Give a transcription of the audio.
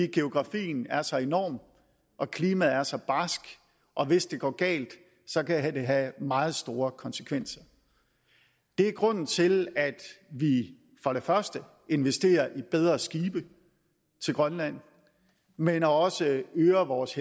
geografien er så enorm og klimaet er så barskt og hvis det går galt kan det have meget store konsekvenser det er grunden til at vi for det første investerer i bedre skibe til grønland men også øger vores